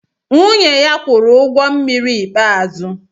Nwunye ya kwụrụ ụgwọ mmiri ikpeazụ